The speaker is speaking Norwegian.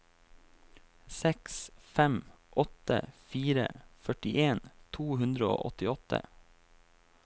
seks fem åtte fire førtien to hundre og åttiåtte